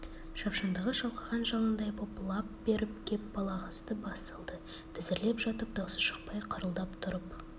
шапшаңдығы шалқыған жалындай боп лап беріп кеп балағазды бас салды тізерлеп жатып даусы шықпай қырылдап тұрып